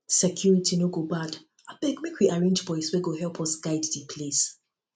security no go bad abeg make we arrange boys wey go help guide di place